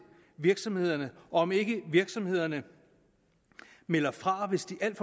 virksomhederne og om ikke virksomhederne melder fra hvis de alt